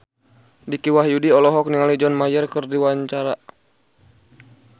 Dicky Wahyudi olohok ningali John Mayer keur diwawancara